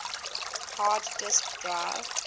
hard disk drive